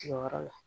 Tigɛyɔrɔ la